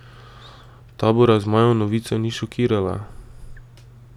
Tabora zmajev novica ni šokirala.